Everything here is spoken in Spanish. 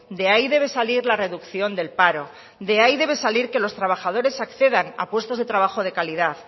de ahí debe salir la reducción del paro de ahí debe salir que los trabajadores accedan a puestos de trabajo de calidad